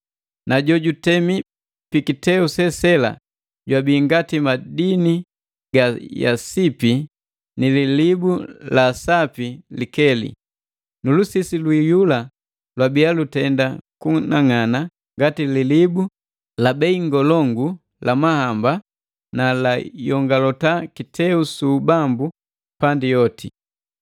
Na jo jutemi pi kiteu sesela jwabi ngati madini ga yasipi ni lilibu laasapi likeli. Nu lusisi lwiiyula lwabia lutenda kunang'ana ngati lilibu la bei ngolongu la mahamba na layongalota kiteu su ubambu pandi yoti.